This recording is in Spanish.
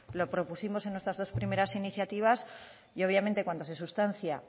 lo propusimos en nuestras dos primeras iniciativas y obviamente cuando se sustancia